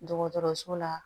Dɔgɔtɔrɔso la